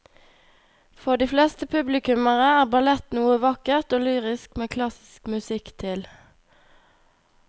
For de fleste publikummere er ballett noe vakkert og lyrisk med klassisk musikk til.